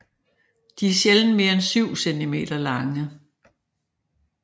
De er sjældent mere en 7 centimeter lange